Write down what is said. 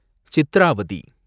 Chitravati